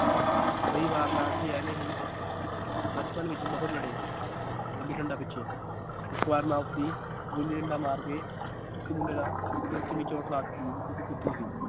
ਕਈ ਵਾਰ ਤਾਂ ਅਸੀਂ ਐਵੇਂ ਹੀ ਬਚਪਨ ਵਿਚ ਬਹੁਤ ਲੜੇ ਗੁੱਲੀ ਡੰਡਾ ਪਿਛੇ ਇੱਕ ਵਾਰ ਮੈ ਉਸਦੀ ਗੁੱਲੀ ਡੰਡਾ ਮਾਰ ਕੇ ਇੱਕ ਮੁੰਡੇ ਦਾ ਸਿਰ ਚ ਇੰਨੀ ਚੋਟ